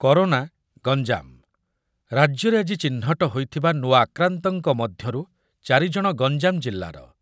Corona Ganjam, ରାଜ୍ୟରେ ଆଜି ଚିହ୍ନଟ ହୋଇଥିବା ନୂଆ ଆକ୍ରାନ୍ତଙ୍କ ମଧ୍ୟରୁ ଚାରି ଜଣ ଗଞ୍ଜାମ ଜିଲ୍ଲାର ।